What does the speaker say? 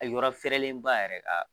yɔrɔ fɛrɛlen ba yɛrɛ